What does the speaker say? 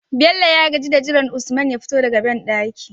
Bello ya gaji da jiran usman ya fito daka banɗaki